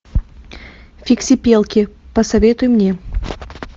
фиксипелки посоветуй мне